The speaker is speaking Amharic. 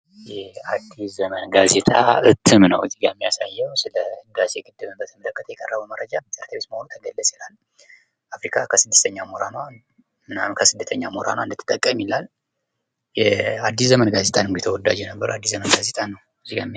ይህ አዲስ ዘመን ጋዜጣ እትም ነው እዚጋ የሚያሳየው ስለ ህዳሴ ግድብን በተመለከተ የቀረበ መረጃ "አፍሪካ ከስደተኛ ሞራላ እንድትጠቅም " ያላል። የ አዲስ ዘመን ተወዳጅ አዲስ ዘመን ጋዜጣ ነው።